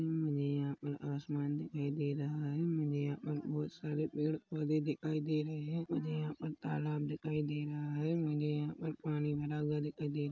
मुझे यहाँ पर आसमान दिखाई दे रहा हैं मुझे यहाँ पर बहुत सारे पेड़-पौधे दिखाई दे रहे हैं मुझे यहाँ पर तालाब दिखाई दे रहा हैं मुझे यहाँ पर पानी भरा हुआ दिखाई दे--